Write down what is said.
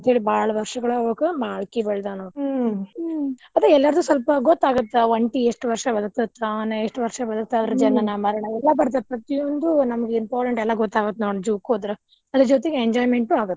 ಅಂತೇಳಿ ಬಾಳ ವರ್ಷಗಳ್ ಎಲ್ಲರಿಗೂ ಸ್ವಲ್ಪ್ ಗೊತ್ತಾಗತ್ತ ಒಂಟಿ ಎಷ್ಟ್ ವರ್ಷ ಬದ್ಕತಿಪಾ ಎಷ್ಟ ವರ್ಷ ಜನನ ಮರಣ ಎಲ್ಲಾ ಬರ್ತೇತಿ ಎಲ್ಲಾ important ಎಲ್ಲಾ ಗೊತ್ತಾಗತ್ತ್ ನೋಡ್ zoo ಕ್ ಹೋದ್ರ ಅದರ ಜೋತಿಗ್ enjoyment ಆಗತ್ತ.